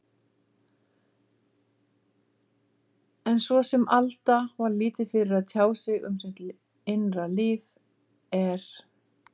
En svo sem Alda var lítið fyrir að tjá sig um sitt innra líf, er